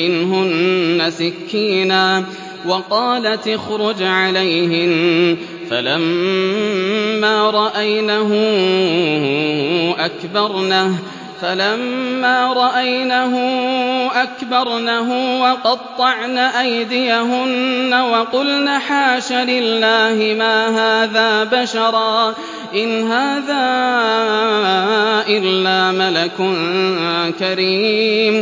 مِّنْهُنَّ سِكِّينًا وَقَالَتِ اخْرُجْ عَلَيْهِنَّ ۖ فَلَمَّا رَأَيْنَهُ أَكْبَرْنَهُ وَقَطَّعْنَ أَيْدِيَهُنَّ وَقُلْنَ حَاشَ لِلَّهِ مَا هَٰذَا بَشَرًا إِنْ هَٰذَا إِلَّا مَلَكٌ كَرِيمٌ